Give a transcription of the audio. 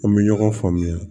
An bɛ ɲɔgɔn faamuya